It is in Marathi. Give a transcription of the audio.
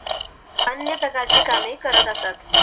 अन्य प्रकार ची कामे करत असत